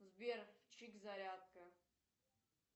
сбер чик зарядка